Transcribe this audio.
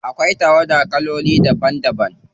Akwai tawada kaloli daban daban.